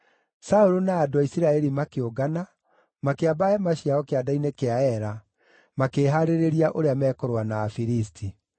Saũlũ na andũ a Isiraeli makĩũngana, makĩamba hema ciao kĩanda-inĩ kĩa Ela, makĩĩhaarĩria ũrĩa mekũrũa na Afilisti.